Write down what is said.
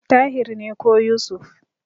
Tahir ne ko Yusuf.